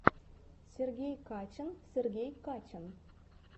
сергей качан сергей качан